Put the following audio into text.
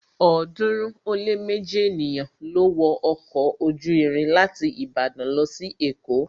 ọ̀ọ́dúnrún ó lé méji ènìyàn ló wọ ọkọ̀ ojú irin láti Ìbàdàn lọ sí èkó